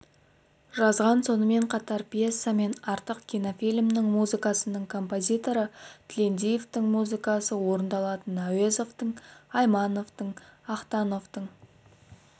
жазған сонымен қатар пьеса мен артық кинофильмнің музыкасының композиторы тілендиевтің музыкасы орындалатын әуезовтың аймановтың ахтановтың